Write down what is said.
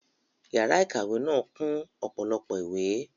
Yàrá ìkàwé náà kún ọ̀pọ̀lọpọ̀ ìwé